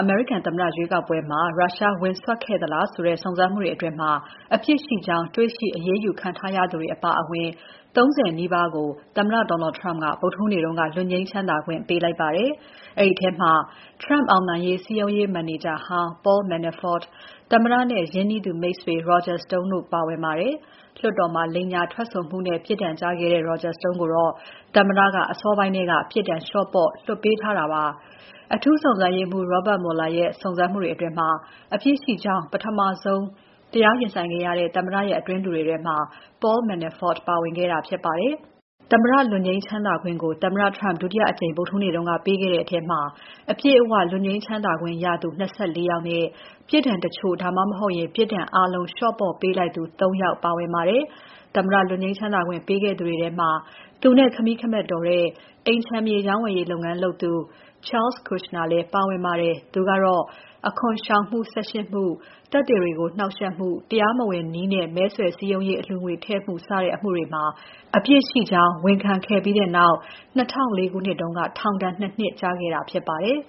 အမေရိကန်သမ္မတ ရွေးကောက်ပွဲမှာ ရုရှားဝင်စွက်ခဲ့သလားဆိုတဲ့ စုံစမ်းမှုအတွင်း အပြစ်ရှိကြောင်း တွေ့ရှိအရေးယူခံရသူတွေအပါအဝင် ၃၀ နီးပါးကို သမ္မတ Donald Trump က ဗုဒ္ဓဟူးနေ့က လွတ်ငြိမ်းချမ်းသာ ခွင့်ပေးလိုက်ပါတယ်။ အဲဒီထဲမှာ Trump အောင်နိုင်ရေးစည်းရုံးရေး မန်နေဂျာ Paul Manafort၊ သမ္မတရဲ့ ရင်းနှီးသူမိတ်ဆွေ Roger Stone တို့ပါဝင်ပါတယ်။ လွှတ်တော်မှာ လိမ်ညာထွက်ဆိုမှုနဲ့ ပြစ်ဒဏ်ကျခဲ့တဲ့ Roger Stone ကိုတော့ သမ္မတက အစောပိုင်းထဲက ပြစ်ဒဏ်လေ ျှာ့ပေါ့ လွှတ်ပေးထားတာပါ။ အထူးစုံစမ်းရေးမှူး Robert Mueller ရဲ့ စုံစမ်းမှုတွေအတွင်း အပြစ်ရှိကြောင်း ပထမဆုံး တရားရင်ဆိုင်ခဲ့ရတဲ့ သမ္မတရဲ့ အတွင်းလူတွေထဲမှာ Paul Manafort ပါဝင်ခဲ့တာဖြစ်ပါတယ်။ သမ္မတ လွတ်ငြိမ်းချမ်းသာခွင့်ကို သမ္မတ Trump ဒုတိယအကြိမ် ဗုဒ္ဓဟူးနေ့က ပေးခဲ့တဲ့ထဲမှာ အပြည့်အဝ လွတ်ငြိမ်းချမ်းသာခွင့်ရသူ ၂၆ ယောက်နဲ့ ပြစ်ဒဏ်တချို့ ဒါမှမဟုတ် ပြစ်ဒဏ်အားလုံး လေ ျှာ့ပေါ့ပေးလိုက်သူ ၃ ယောက်ပါဝင်ပါတယ်။ သမ္မတလွတ်ငြိမ်းချမ်းသာခွင့်ပေးခဲ့သူတွေထဲမှာ သူနဲ့ ခမည်းခမက်တော်တဲ့ အိမ်ခြံမြေရောင်းဝယ်ရေးလုပ်ငန်း လုပ်သူ Charles Kushner လည်းပါဝင်ပါတယ်။ သူကတော့ အခွန်ရှောင်မှု ၁၈ မှု၊ သက်သေတွေကို နှောင့်ယှက်မှု၊ တရားမဝင်နည်းနဲ့ မဲဆွယ်စည်းရုံးရေး အလှူငွေထည့်မှု စတဲ့ အမှုတွေမှာ အပြစ်ရှိကြောင်း ဝန်ခံခဲ့ပြီးနောက် ၂၀၀၄ ခုနှစ်က ထောင်ဒဏ် ၂ နှစ်ကျခဲ့တာဖြစ်ပါတယ်